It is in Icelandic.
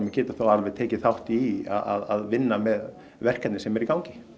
getur þá alveg tekið þátt í að vinna með verkefni sem eru í gangi